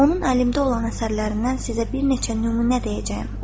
Onun əlimdə olan əsərlərindən sizə bir neçə nümunə deyəcəyəm.